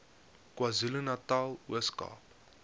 kwazulunatal ooskaap